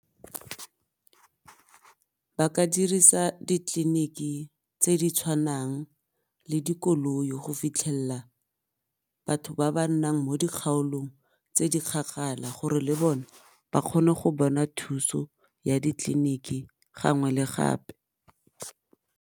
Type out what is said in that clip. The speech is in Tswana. Ba ka dirisa ditleliniki tse di tshwanang le dikoloi go fitlhella batho ba ba nnang mo dikgaolong tse di gore le bone ba kgone go bona thuso ya di-clinic-i gangwe le gape.